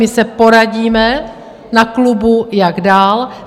My se poradíme na klubu, jak dál.